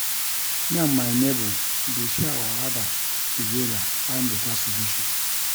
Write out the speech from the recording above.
Me and my nebor dey share our wahala togeda find beta solution.